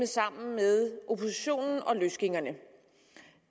sammen med oppositionen og løsgængerne